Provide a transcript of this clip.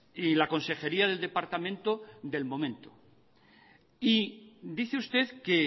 y la consejería del departamento del momento y dice usted que